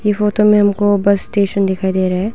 ई photo में हमको bus station दिखाई दे रहा है।